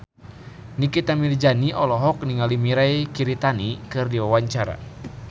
Nikita Mirzani olohok ningali Mirei Kiritani keur diwawancara